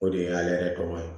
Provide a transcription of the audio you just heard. O de y'ale yɛrɛ tɔgɔ ye